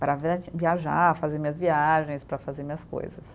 Para via, viajar, fazer minhas viagens, para fazer minhas coisas.